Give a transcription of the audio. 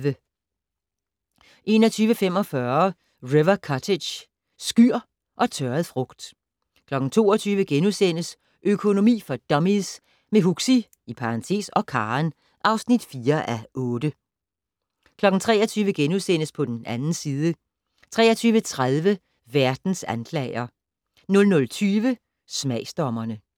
21:45: River Cottage - skyr og tørret frugt 22:00: Økonomi for dummies - med Huxi (og Karen) (4:8)* 23:00: På den 2. side * 23:30: Verdens anklager 00:20: Smagsdommerne